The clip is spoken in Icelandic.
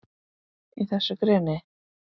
Í þessu greni?